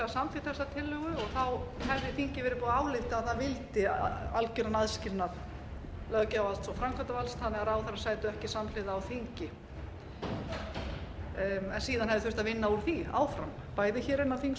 og þá hefði þingið verið búið að álykta að það vildi algeran aðskilnað löggjafarvalds og framkvæmdarvalds þannig að ráðherrar sætu ekki samhliða á þingi en síðan hefði þurft að vinna úr því áfram bæði innan þings